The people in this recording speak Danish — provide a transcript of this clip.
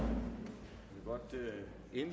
er